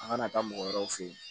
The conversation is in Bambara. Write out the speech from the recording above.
A kana taa mɔgɔ wɛrɛw fe yen